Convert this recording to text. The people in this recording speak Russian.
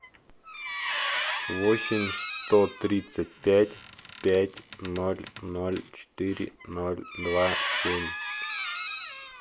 восемь сто тридцать пять пять ноль ноль четыре ноль два семь